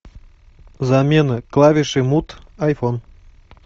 замена клавиши мут айфон